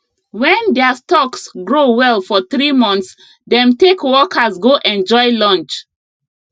when their stocks grow well for three months dem take workers go enjoy lunch